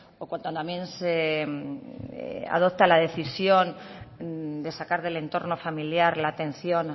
o cuando también se adopta la decisión de sacar del entorno familiar la atención